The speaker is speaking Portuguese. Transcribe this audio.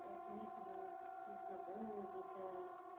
esse início dos estudos na música?